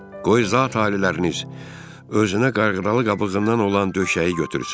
Qoy zat-aliləriniz özünə qayğıralı qabığından olan döşəyi götürsün.